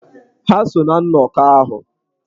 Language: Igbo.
Ha so ná nnọkọ ahụ.